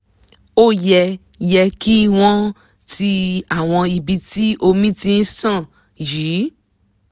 ó yẹ yẹ kí wọ́n ti àwọn ibi tí omi ti ṣàn yí